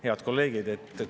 Head kolleegid!